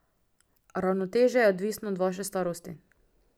Ravnotežje je odvisno od vaše starosti.